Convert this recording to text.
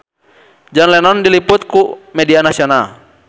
John Lennon diliput ku media nasional